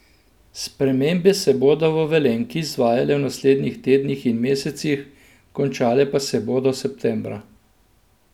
Spremembe se bodo v Velenjki izvajale v naslednjih tednih in mesecih, končale pa se bodo septembra.